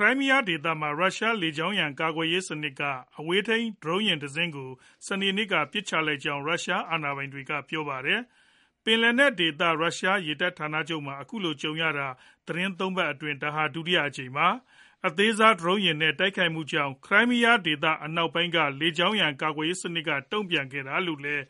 ရိုင်းမီးယားဒေသမှာ ရုရှားလေကြောင်းရန် ကာကွယ်ရေးစနစ်က အဝေးထိန်း ဒရုန်းယာဉ်တစင်းကို စနေနေ့က ပစ်ချလိုက်ကြောင်း ရုရှားအာဏာပိုင်တွေက ပြောပါတယ်။ ပင်လယ်နက်ဒေသ ရုရှားရေတပ်ဌာနချုပ်မှာ အခုလို ကြုံရတာ သီတင်း ၃ ပတ်အတွင်း ဒါဟာ ဒုတိယအကြိမ်ပါ။ အသေးစားဒရုန်းယာဉ်တွေနဲ့ တိုက်ခိုက်မှုကြောင့် ခရိုင်းမီးယားဒေသ အနောက်ပိုင်းက လေကြောင်းရန် ကာကွယ်ရေး စနစ်က တုံ့ပြန်ခဲ့တာလို့လည်း